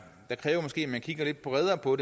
måske man kigger lidt bredere på